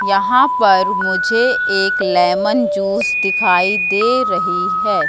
यहां पर मुझे एक लेमन जूस दिखाई दे रही है।